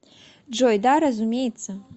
джой да разумеется